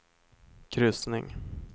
kryssning